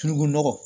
Tulu nɔgɔ